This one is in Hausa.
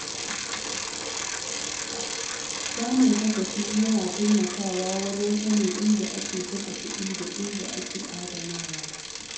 Samun kasafi yana taimakawa wajen sanin inda ake kashe kuɗi da inda ake adanawa.